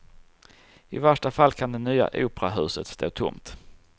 I värsta fall kan det nya operahuset stå tomt.